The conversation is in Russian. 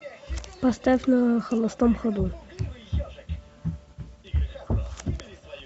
поставь на холостом ходу